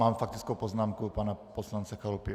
Mám faktickou poznámku pana poslance Chalupy.